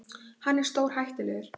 Hann er stórhættulegur.